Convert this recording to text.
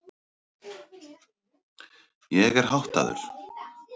Ég er háttaður.